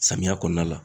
Samiya kɔnɔna la